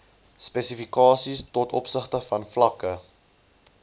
spesifikasies tov vlakke